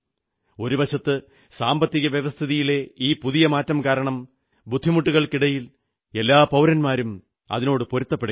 ഒരു വശത്ത് സാമ്പത്തിക വ്യവസ്ഥിതിയിലെ ഈ പുതിയ മാറ്റം കാരണം ബുദ്ധിമുട്ടുകൾക്കിടയിൽ എല്ലാ പൌരന്മാരും അതിനോടു പൊരുത്തപ്പെടുകയാണ്